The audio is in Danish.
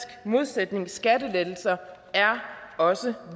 modsætning for skattelettelser er også